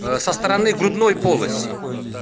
со стороны грудной полости